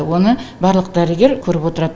оны барлық дәрігер көріп отырады